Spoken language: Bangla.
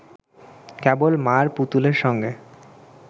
কেবল মা’র পুতুলের সঙ্গে